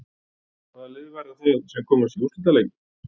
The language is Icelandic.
Hvaða lið verða það sem komast í úrslitaleikinn?